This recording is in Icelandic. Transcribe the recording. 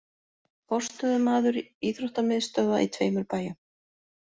Forstöðumaður íþróttamiðstöðva í tveimur bæjum